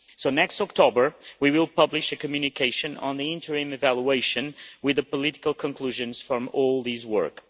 So next October we will publish a Communication on the interim evaluation with the political conclusions from all this work.